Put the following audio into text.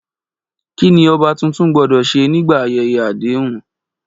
Kí ni ọba tuntun gbọ́dọ̀ ṣe nígbà ayẹyẹ àdéhùn?